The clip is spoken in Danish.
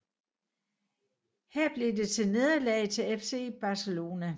Her blev det til nederlag til FC Barcelona